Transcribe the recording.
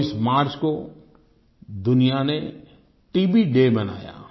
24 March को दुनिया ने टीबी डे मनाया